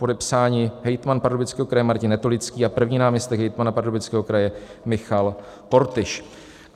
Podepsáni hejtman Pardubického kraje Martin Netolický a první náměstek hejtmana Pardubického kraje Michal Kortyš."